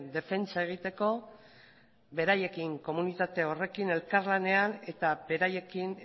defentsa egiteko beraiekin komunitate horrekin elkar lanean eta beraiekin